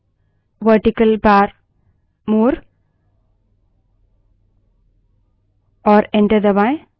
terminal पर type करें set space vertical bar more और enter दबायें